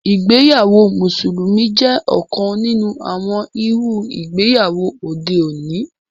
Ìgbéyàwó mùsùlùmí jẹ́ ọ̀kan nínú àwọn irú ìgbéyàwó òde òní